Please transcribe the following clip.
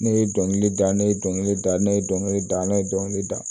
Ne ye dɔnkili da ne ye dɔnkili da ne ye dɔnkili da ne ye dɔnkili da